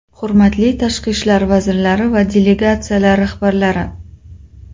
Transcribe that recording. Hurmatli tashqi ishlar vazirlari va delegatsiyalar rahbarlari!